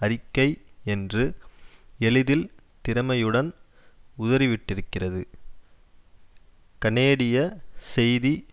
அறிக்கை என்று எளிதில் திறமையுடன் உதறிவிட்டிருக்கிறது கனேடியச் செய்தி